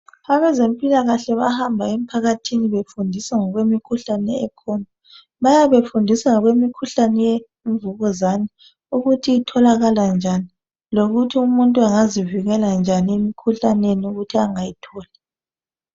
Abezempilakahle bahamba emphakathini befundisa ngokwemikhuhlane ekhona bayabe befundisangemikhuhlane yemvukuzane ukuthi itholakala njani lokuthi umuntu angazivikela njani emkhuhlaneni ukuthi angayitholi.